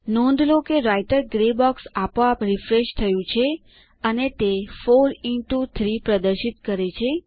નોંધ લો કે રાઈટર ગ્રે બોક્સ આપોઆપ રિફ્રેશ થયું છે અને તે 4 ઇન્ટો 3 પ્રદર્શિત કરે છે